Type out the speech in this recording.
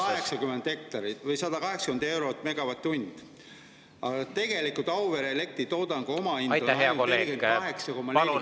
"Kui põlevkivielektri tootmishind on ca 180 eurot MW/h " Tegelikult Auvere elektritoodangu omahind on ainult 48,4 eurot megavatt-tund.